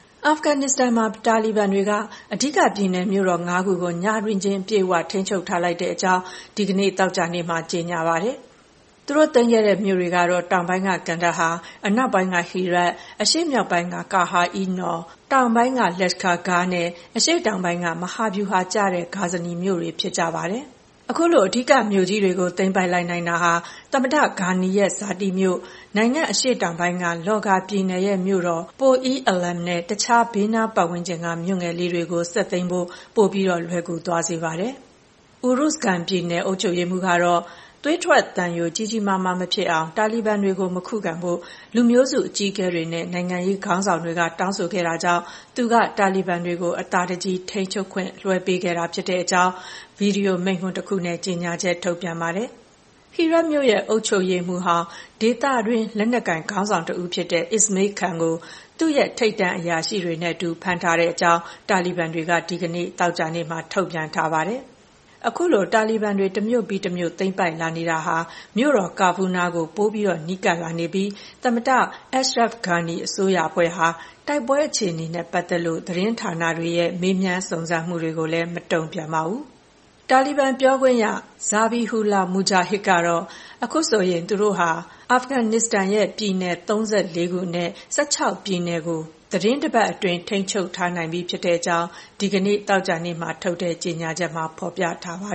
အာဖဂန်နစ္စတန်မှာ တာလီဘန်တွေက အဓိကပြည်နယ်မြို့တော် ၅ ခုကို ညတွင်းချင်း အပြည့်အဝ ထိန်းချုပ်ထားလိုက်ပြီဖြစ်ကြောင်း ဒီကနေ့ သောကြာနေ့မှာ ကြေညာပါတယ်။ သူတို့သိမ်းခဲ့တဲ့ မြို့တွေကတော့ တောင်ပိုင်းက ကန်ဒါဟာ၊ အနောက်ပိုင်းက ဟီရတ်၊ အရှေ့မြောက်ပိုင်းက ကာဟာရ်-အီး နော်၊ တောင်ပိုင်းက လက်ရှ်ခါ ဂါးနဲ့ အရှေ့တောင်ပိုင်းက မဟာဗျူဟာကျတဲ့ ဂါဇနီ မြို့တွေ ဖြစ်ကြပါတယ်။ အခုလို အဓိကမြို့ကြီးတွေကို သိမ်းပိုက်နိုင်တာဟာ သမ္မတဂါနီရဲ့ဇာတိမြို့ဖြစ်တဲ့ နိုင်ငံ့အရှေ့ပိုင်းက လော့ဂါပြည်နယ်ရဲ့မြို့တော် ပိုလ် - အီး အလာမ်နဲ့ တခြား ဘေးနားဝန်းကျင်က မြို့ငယ်လေးတွေကို ဆက်သိမ်းဖို့ ပိုလွယ်ကူသွားစေပါတယ်။ အူရုဇ်ဂန်ပြည်နယ် အုပ်ချုပ်ရေးမှူးကတော့ သွေးထွက်သံယို ကြီးကြီးမားမားမဖြစ်အောင် တာလီဘန်တွေကို မခုခံဖို့ လူမျိုးစုအကြီးအကဲတွေနဲ့ နိုင်ငံရေးခေါင်းဆောင်တွေက တောင်းဆိုခဲ့တာကြောင့် သူက တာလီဘန်တွေကို အသာတကြည် ထိန်းချုပ်ခွင့်လွဲှပေးခဲ့တာဖြစ်ကြောင်း ဗွီဒီယိုမိန့်ခွန်းတခုနဲ့ ကြေညာချက်ထုတ်ပြန်ပါတယ်။ ဟီရတ်မြို့ရဲ့ အုပ်ချုပ်ရေးမှူးဟောင်းဖြစ်သူ ဒေသတွင်း လက်နက်ကိုင်ခေါင်းဆောင်တဦးဖြစ်တဲ့ အစ္စမေးလ် ခန်းကို သူ့ရဲ့ထိပ်တန်းအရာရှိတွေနဲ့အတူ ဖမ်းဆီးထားကြောင်း တာလီဘန်တွေက ဒီကနေ့ သောကြာနေ့မှာ ထုတ်ပြန်ထားပါတယ်။ အခုလို တာလီဘန်တွေ တမြို့ပြီးတမြို့သိမ်းပိုက်လာနေတာဟာ မြို့တော် ကာဘူးနားကို ပို နီးကပ်လာနေပြီး သမ္မတ အက်ရှ်ရက်ဖ် ဂါနီ အစိုးရအဖွဲ့ဟာ တိုက်ပွဲအခြေအနေတွေနဲ့ပတ်သက်လို့ သတင်းဌာနတွေရဲ့ မေးမြန်းစုံစမ်းမှုတွေကိုလည်း မတုံ့ပြန်ပါဘူး။ တာလီဘန်ပြောခွင့်ရ ဇာဘီဟူလာ မူဂျာဟစ်ကတော့ အခုဆိုရင် သူတို့ဟာ အာဖဂန်နစ္စတန်ရဲ့ ပြည်နယ် ၃၄ ခုအနက် ၁၆ ပြည်နယ်ကို သီတင်းတပတ်အတွင်း ထိန်းချုပ်ထားနိုင်ပြီဖြစ်ကြောင်း ဒီကနေ့သောကြာနေ့မှာထုတ်တဲ့ကြေညာချက်မှာ ဖော်ပြထားပါ